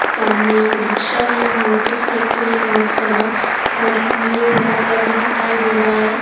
सामने एक रिक्शा है मोटरसाइकिल है बहुत सारा और भीड़ भाड़ाका भी दिखाई दे रहा है।